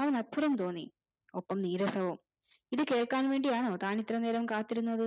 അവന് അത്ഭുതം തോന്നി ഒപ്പം നീരസവും ഇത് കേൾക്കാൻ വേണ്ടിയാണോ താൻ ഇത്രയും നേരം കാത്തിരുന്നത്